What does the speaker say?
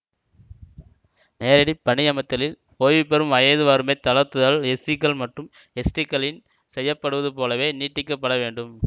நேரடி பணியமர்த்திலில் ஓய்வு பெறும் வயது வரம்பைத் தளர்த்துதல் எஸ்சிக்கள் மற்றும் எஸ்டிக்களின் செய்ய படுவது போலவே நீட்டிக்கப்பட வேண்டும்